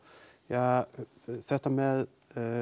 þetta með